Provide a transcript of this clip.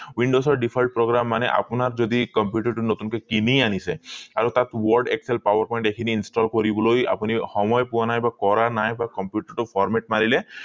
windows ৰ default program মানে আপোনাৰ যদি computer টো নতুনকৈ কিনি আনিছে আৰু তাক word excel power point এই খিনি installed কৰিবলৈ আপুনি সময় পোৱা নাই বা কৰা বা computer টো format মাৰিলে